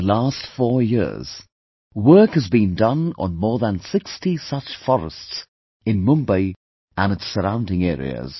In the last four years, work has been done on more than 60 such forests in Mumbai and its surrounding areas